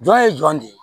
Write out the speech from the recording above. Jɔn ye jɔn de ye